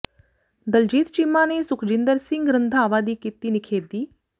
ਦਲਜੀਤ ਚੀਮਾ ਨੇ ਸੁਖਜਿੰਦਰ ਸਿੰਘ ਰੰਧਾਵਾ ਦੀ ਕੀਤੀ ਨਿਖੇਧੀ